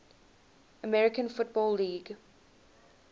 american football league